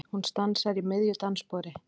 Hún stansar í miðju dansspori.